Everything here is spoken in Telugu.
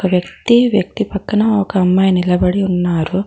ఒక వ్యక్తి వ్యక్తి పక్కన ఒక అమ్మాయ్ నిలబడి ఉన్నారు.